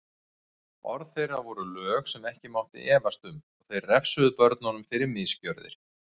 Orð þeirra voru lög sem ekki mátti efast um og þeir refsuðu börnunum fyrir misgjörðir.